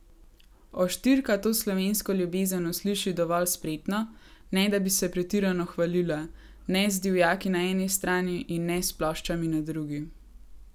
Oštirka to slovensko ljubezen usliši dovolj spretno, ne da bi se pretirano hvalila, ne z divjaki na eni strani in ne s ploščami na drugi.